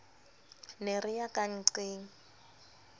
ne re ya ka nnqeng